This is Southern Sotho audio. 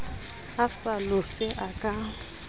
a sa lofe a ka